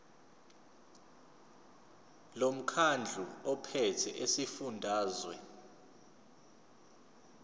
lomkhandlu ophethe esifundazweni